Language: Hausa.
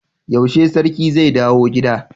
Yaushe sarki zai dawo gida